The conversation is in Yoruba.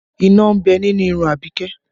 Iná ń bẹ nínú irun Abike